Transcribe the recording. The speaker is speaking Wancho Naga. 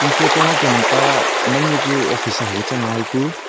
photo ma kem ta mai mai ku office hu chang hai ku--